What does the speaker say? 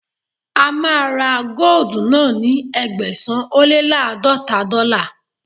A máa ra góòdù náà ní Ẹgbẹ̀sán-ó-lé-láàdọ́ta dọ́là.